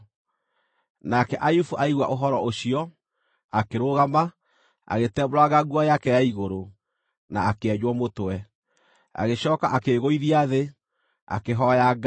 Nake Ayubu aigua-ũhoro ũcio, akĩrũgama, agĩtembũranga nguo yake ya igũrũ, na akĩenjwo mũtwe. Agĩcooka akĩĩgũithia thĩ, akĩhooya Ngai,